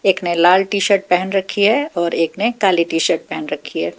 एक ने लाल टी शर्ट पहन रखी है और एक ने काली टी शर्ट पहन रखी है।